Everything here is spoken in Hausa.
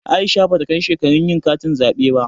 Aisha bata kai shekarun yin katin zaɓe ba.